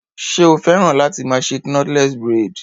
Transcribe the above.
Ṣé o fẹ́ràn láti máa ṣe knotless braid?